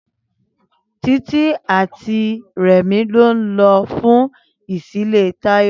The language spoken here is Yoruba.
Títí àti Rẹ̀mí ló ń lọ fún ìṣílé Táyọ̀